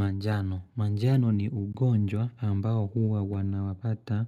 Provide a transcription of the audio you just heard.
Manjano. Manjano ni ugonjwa ambao huwa wanawapata